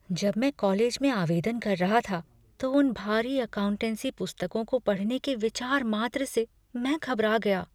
जब मैं कॉलेज में आवेदन कर रहा था तो उन भारी अकाउंटेंसी पुस्तकों को पढ़ने के विचार मात्र से मैं घबरा गया।